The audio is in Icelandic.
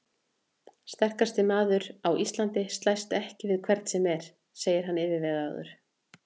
Sterkasti maður á Íslandi slæst ekki við hvern sem er, sagði hann yfirvegaður.